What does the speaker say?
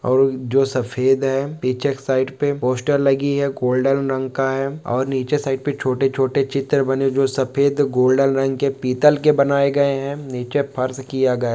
और जो सफेद है पीछे साइड पे पोस्टर लगी है गोल्डन रंग का है और नीचे साइड पे छोटे-छोटे चित्र बने जो सफेद गोल्डन रंग के पीतल के बनाए गए हैं। नीचे फर्श किया गया--